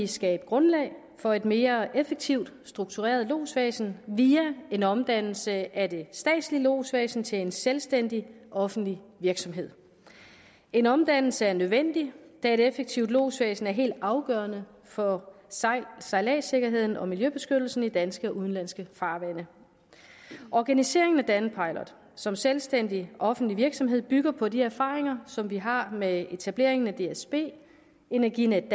skabe grundlaget for et mere effektivt struktureret lodsvæsen via en omdannelse af det statslige lodsvæsen til en selvstændig offentlig virksomhed en omdannelse er nødvendig da et effektivt lodsvæsen er helt afgørende for sejladssikkerheden og miljøbeskyttelsen i de danske og udenlandske farvande organiseringen af danpilot som selvstændig offentlig virksomhed bygger på de erfaringer som vi har med etableringen af dsb energinetdk